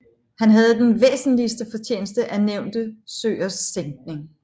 Han havde den væsentligste fortjeneste af nævnte søers sænkning